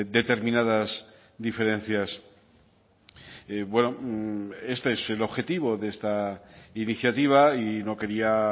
determinadas diferencias bueno este es el objetivo de esta iniciativa y no quería